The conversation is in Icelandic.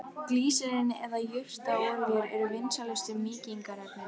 Glýserín eða jurtaolíur eru vinsælustu mýkingarefnin.